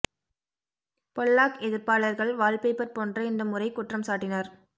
Pollock எதிர்ப்பாளர்கள் wallpaper போன்ற இந்த முறை குற்றம் சாட்டினர்